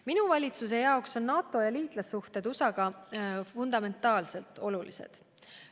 Minu valitsuse jaoks on NATO ja liitlassuhted USA-ga fundamentaalselt olulised.